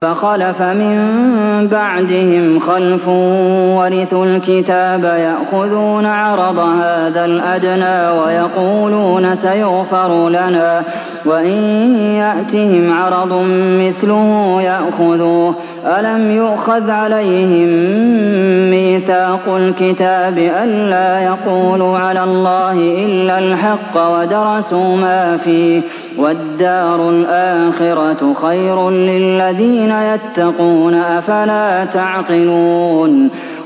فَخَلَفَ مِن بَعْدِهِمْ خَلْفٌ وَرِثُوا الْكِتَابَ يَأْخُذُونَ عَرَضَ هَٰذَا الْأَدْنَىٰ وَيَقُولُونَ سَيُغْفَرُ لَنَا وَإِن يَأْتِهِمْ عَرَضٌ مِّثْلُهُ يَأْخُذُوهُ ۚ أَلَمْ يُؤْخَذْ عَلَيْهِم مِّيثَاقُ الْكِتَابِ أَن لَّا يَقُولُوا عَلَى اللَّهِ إِلَّا الْحَقَّ وَدَرَسُوا مَا فِيهِ ۗ وَالدَّارُ الْآخِرَةُ خَيْرٌ لِّلَّذِينَ يَتَّقُونَ ۗ أَفَلَا تَعْقِلُونَ